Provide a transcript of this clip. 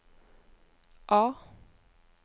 A